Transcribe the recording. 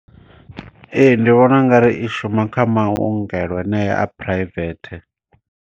Ee, ndi vhona ungari i shuma kha maongelo anea a private.